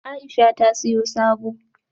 Aisha ta siyo sabo